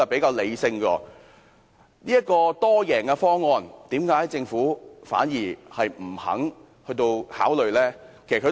既然有這個多贏方案，為何政府不肯考慮？